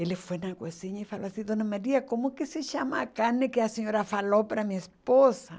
Ele foi na cozinha e falou assim, Dona Maria, como que se chama a carne que a senhora falou para minha esposa?